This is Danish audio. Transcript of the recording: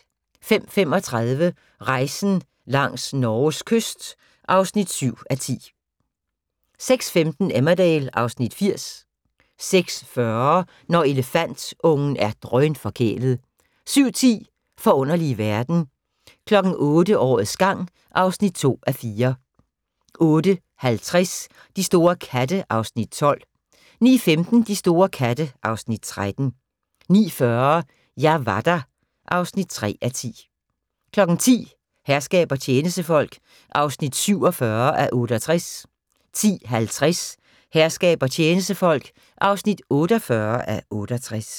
05:35: Rejsen langs Norges kyst (7:10) 06:15: Emmerdale (Afs. 80) 06:40: Når elefantungen er drønforkælet 07:10: Forunderlige verden 08:00: Årets gang (2:4) 08:50: De store katte (Afs. 12) 09:15: De store katte (Afs. 13) 09:40: Jeg var der (3:10) 10:00: Herskab og tjenestefolk (47:68) 10:50: Herskab og tjenestefolk (48:68)